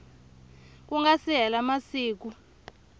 ku nga si hela masiku